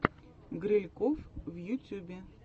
грильков в ютюбе